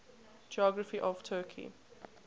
geography of turkey